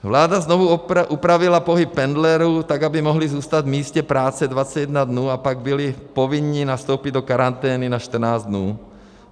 Vláda znovu upravila pohyb pendlerů, tak aby mohli zůstat v místě práce 21 dnů, a pak byli povinni nastoupit do karantény na 14 dnů.